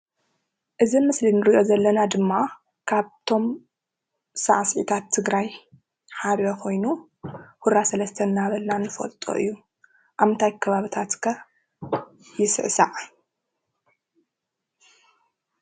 እዚ አብ ምስሊ እንሪኦ ዘለና ድማ ካብቶም አብ ሳዕስዒታት ትግራይ ሓደ ኮይኑ ሁራ ሰለስተ እናበልና ንፈልጦ እዩ:: አብ ምንታይ ከባቢታት ከ ይስዕሳዕ?